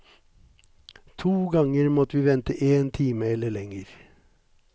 To ganger måtte vi vente én time eller lenger.